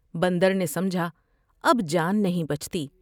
بندر نے سمجھا اب جان نہیں بچتی ۔